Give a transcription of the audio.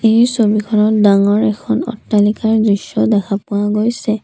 এই ছবিখনত ডাঙৰ এখন অট্টালিকাৰ দৃশ্য দেখা পোৱা গৈছে।